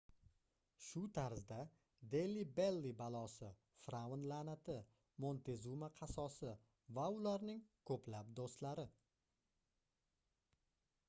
shu tarzda deli belli balosi firʼavn laʼnati montezuma qasosi va ularning koʻplab doʻstlari